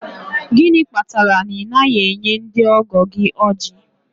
Gịnị kpatara na ị naghị enye ndị ọgọ gị ojí?.